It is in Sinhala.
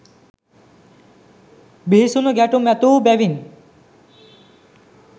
බිහිසුණු ගැටුම් ඇති වූ බැවින්